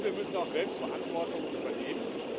Und wir müssen auch selbst Verantwortung übernehmen.